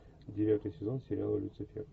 девятый сезон сериала люцифер